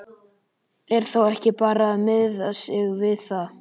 Er þá ekki bara að miða sig við það?